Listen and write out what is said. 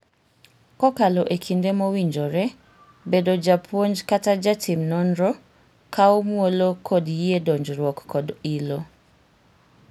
Kokalo ekinde mowinjore, bedo japuonj kata ja tim nonro kawo muolo kod yie donjruok kod ilo.